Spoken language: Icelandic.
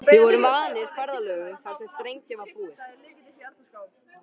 Við vorum vanir ferðalögum þar sem þrengra var búið.